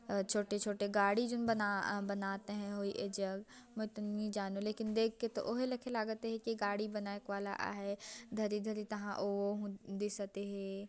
अऊ छोटे-छोटे गाड़ी जिन बना अ बनाते हैं ए जग मे तो नई जानव लेकिन देख तो ओ ही लखी लागत हे की गाड़ी बनाएक वाला आहे धरी-धरी तहाँ ओ दिसत हे।